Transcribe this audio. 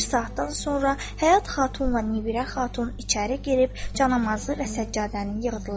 Bir saatdan sonra Həyat Xatunla Nibirə Xatun içəri girib canamazı və səccadəni yığdılar.